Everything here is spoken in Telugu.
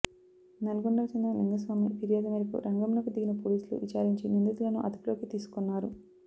నల్లగొండకు చెందిన లింగస్వామి ఫిర్యాదు మేరకు రంగంలోకి దిగిన పోలీసులు విచారించి నిందితులను అదుపులోకి తీసుకున్నారు